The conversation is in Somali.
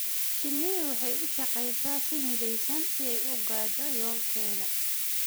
Shinnidu waxay u shaqaysaa si midaysan si ay u gaadho yoolkeeda.